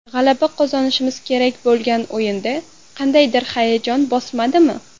G‘alaba qozonishimiz kerak bo‘lgan o‘yinda qandaydir hayajon bosmadimi?